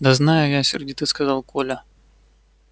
да знаю я сердито сказал коля